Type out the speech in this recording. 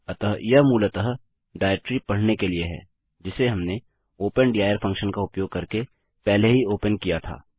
अतः यह मूलतः डाइरेक्टरी पढ़ने के लिए है जिसे हमने ओपन दिर फंक्शन का उपयोग करके पहले ही ओपन किया था